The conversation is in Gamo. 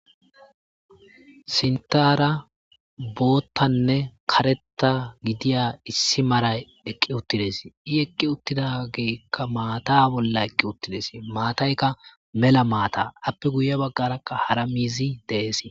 sintara boottanne karetta gidiya issi maray eqqi uttides i eqqi uttidageekka maata bolla eqqi uttides maataykka mela maata appe guye baggarakka hara miizi dees